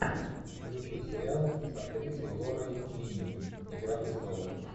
включи сериал с актрисой лорой линни игра престолов